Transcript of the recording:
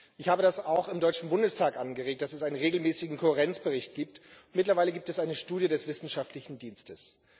Ich habe auch im Deutschen Bundestag angeregt, dass es einen regelmäßigen Kohärenzbericht gibt mittlerweile gibt es eine Studie des Wissenschaftlichen Dienstes.